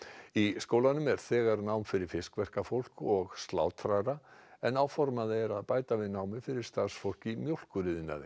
í skólanum er þegar nám fyrir fiskverkafólk og slátrara en áformað er að bæta við námi fyrir starfsfólk í mjólkuriðnaði